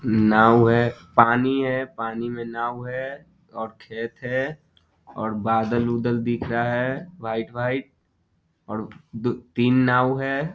नाव है पानी है पानी में नाव है और खेत है और बादल-उदल दिख रहा है व्हाइट व्हाइट और द तीन नाव है।